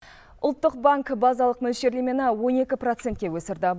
ұлттық банк базалық мөлшерлемені он екі процентке өсірді